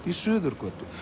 í Suðurgötu